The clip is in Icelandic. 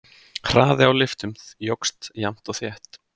Hraði á lyftum jókst jafnt og þétt.